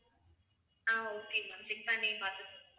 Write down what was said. ஆஹ் okay ma'am check பண்ணி பாத்து~